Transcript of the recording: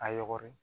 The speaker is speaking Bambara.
A yɔgɔri